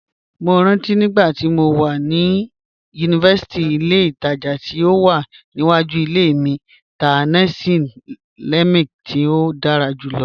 Mó rántí nígbàtí mó wà ni yunífásítì, ìlẹ̀ ìtaja tí ó wà níwàjú ìlẹ̀ mi tá nasi lemak tí ó dára júlọ̀.